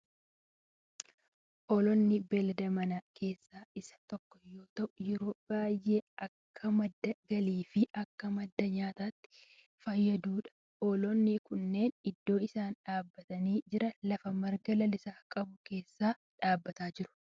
Hoolaan beellada manaa keessaa isa tokkoo yoo ta'u yeroo baayyee akka madda galii fi akka madda nyaatatti kan fayyadudha. hoolonni kunneen iddoon isaan dhaabbatanii jiran lafa marga lalisaa qabu keessa dhaabbatanii jiru.